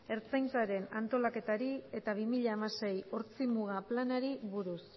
ertzaintzaren antolaketari eta bi mila hamasei ortzimuga planari buruz